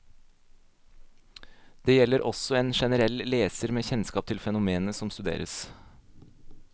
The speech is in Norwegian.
Det gjelder også en generell leser med kjennskap til fenomenene som studeres.